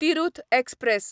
Tirhut express